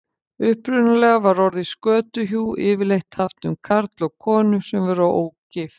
upprunalega var orðið skötuhjú yfirleitt haft um karl og konu sem voru ógift